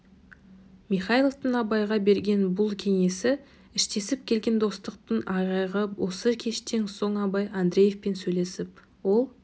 михайловтың абайға берген бұл кеңесі іштесіп келген достықтың айғағы осы кештен соң абай андреевпен сөйлесіп ол